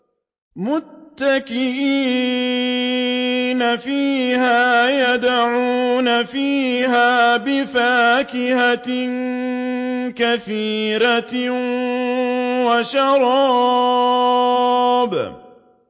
مُتَّكِئِينَ فِيهَا يَدْعُونَ فِيهَا بِفَاكِهَةٍ كَثِيرَةٍ وَشَرَابٍ